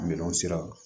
Miliyɔn sira